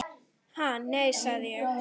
Ha, nei, sagði ég.